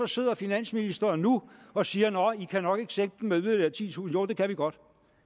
sidder finansministeren nu og siger nåh i kan nok ikke sænke med yderligere titusind jo det kan vi godt